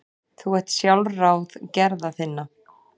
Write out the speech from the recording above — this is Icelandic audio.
Þú ert sjálfráð gerða þinna.